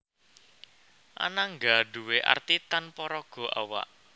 Anangga nduwé arti tanpa raga awak